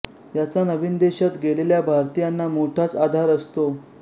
याचा नवीन देशात गेलेल्या भारतीयांना मोठाच आधार असतो